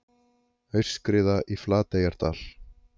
Aurskriða í Flateyjardal